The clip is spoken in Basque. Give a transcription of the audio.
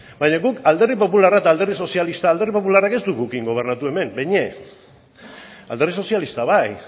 baina guk alderdi popularra eta alderdi sozialista alderdi popularra ez dugu gurekin gobernatu hemen behin ere alderdi sozialista bai